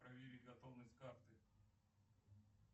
проверить готовность карты